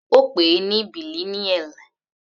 Ó pè ní bilineal.